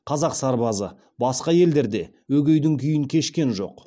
қазақ сарбазы басқа елдерде өгейдің күйін кешкен жоқ